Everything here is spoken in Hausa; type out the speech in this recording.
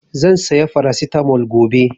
Zan saya Farasitamol gobe